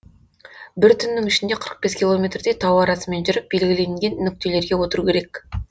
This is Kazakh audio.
бір түннің ішінде қырық бес километрдей тау арасымен жүріп белгіленген нүктелерге отыру керек